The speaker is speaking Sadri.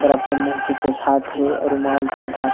पूरा मुंह के पोछात ही और रूमाल से ढ़कात ही।